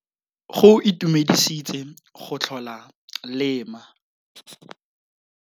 Go itumedisitse go tlhola le ma.